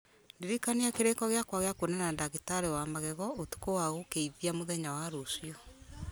ndirikania kĩrĩko gĩakwa gĩa kwonana na ndagĩtarĩ wa magego ũtukũ wa gũkĩithia mũthenya wa rũciũ